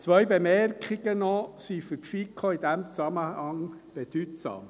Zwei Bemerkungen sind für die FiKo in diesem Zusammenhang bedeutsam.